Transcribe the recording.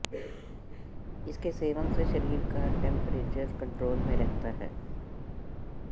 इसके सेवन से शरीर का टेंपरेचर कंट्रोल में रहता है